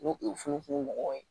N'u ye funufunu mɔgɔw ye